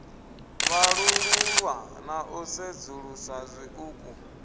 vhalululwa na u sedzuluswa zwiṱuku